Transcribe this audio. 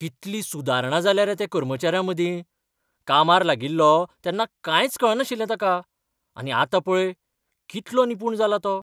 कितली सुदारणा जाल्या रे त्या कर्मचाऱ्यामदीं. कामार लागिल्लो तेन्ना कांयच कळनाशिल्लें ताका, आनी आतां पळय कितलो निपूण जाला तो.